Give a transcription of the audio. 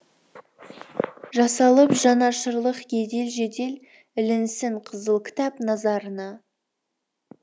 жасалып жанашырлық едел жедел ілінсін қызыл кітап назарына